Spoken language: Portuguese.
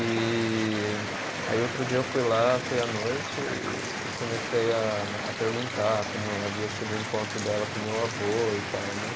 E aí outro dia eu fui lá, fui à noite e comecei a perguntar como havia sido o encontro dela com meu avô e tal, né.